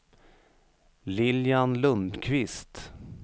Lilian Lundquist